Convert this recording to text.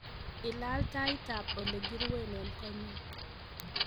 ilal taitab ab olegiruen en konyun